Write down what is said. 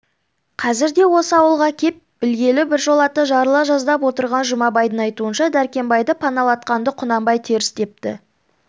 қазірде осы ауылға кеп білгелі біржолата жарыла жаздап отырған жұмабайдың айтуынша дәркембайды паналатқанды құнанбай теріс депті